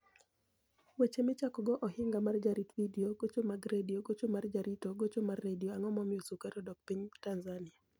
Weche Michako go Ohiniga mar Jarito Vidio Gocho mag Redio Gocho mar Jarito Gocho mar Redio Anig'o Momiyo Sukari odok piniy Tanizaniia?